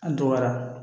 An dɔgɔyara